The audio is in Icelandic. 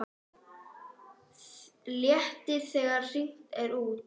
Léttir þegar hringt er út.